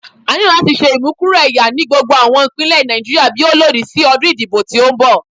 A nilo lati ṣe imukuro ẹya ni gbogbo awọn ipinlẹ Naijiria bi o lodi si ọdun idibo ti nbọ